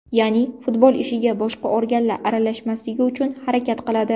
Ya’ni, futbol ishiga boshqa organlar aralashmasligi uchun harakat qiladi.